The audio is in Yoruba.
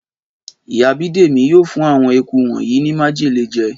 Ìyá Bídèmí yóò fún àwọn eku wonyii ni májèlé jẹ